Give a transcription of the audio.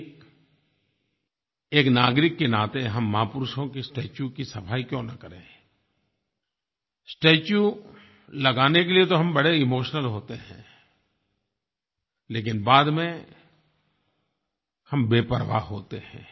एक एक नागरिक के नाते हम महापुरुषों के स्टेच्यू की सफाई क्यों न करें स्टेच्यू लगाने के लिये तो हम बड़े इमोशनल होते हैं लेकिन बाद में हम बेपरवाह होते हैं